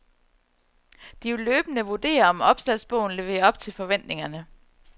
De vil løbende vurdere, om opslagsbogen lever op til forventningerne.